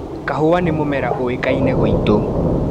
Kahũa nĩ mũmera ũĩkaine gwitu.